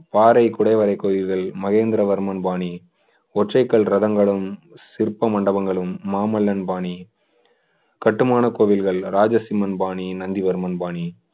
பாறை குடைவரைக் கோயில்கள் மகேந்திரவர்மன் பாணி ஒற்றைக்கல் ரதங்களும் சிற்ப மண்டபங்களும் மாமல்லன் பாணி கட்டுமான கோவில்கள் ராஜசிம்மன் பாணி நந்திவர்மன் பாணி